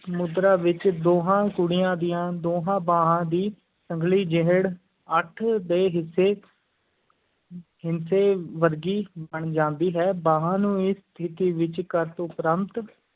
ਮੁਦਰਾ ਵਿੱਚ ਦੋਂਹਾਂ ਕੁੜੀਆਂ ਦੀਆਂ ਦੋਹਾਂ ਬਾਹਾਂ ਦੀ ਸੰਗਲੀ ਜਿਹੜ ਅੱਠ ਦੇ ਹਿੱਸੇ ਹਿੱਸੇ ਵਰਗੀ ਬਣ ਜਾਂਦੀ ਹੈ, ਬਾਂਹਾਂ ਨੂੰ ਇਸ ਸਥਿਤੀ ਵਿੱਚ ਕਰਨ ਉਪਰੰਤ